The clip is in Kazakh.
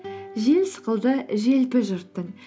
жел сықылды желпі жұрттың